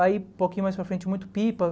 Aí, pouquinho mais para frente, muito pipa.